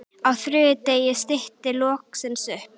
Á þriðja degi stytti loksins upp.